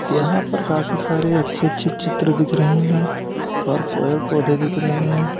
यहां पर काफी सारे अच्छे अच्छे चित्र दिख रहे है और पेड़ पौधे दिख रहे है।